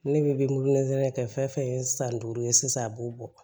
Ne bɛ kɛ fɛn fɛn ye san duuru ye sisan a b'o bɔ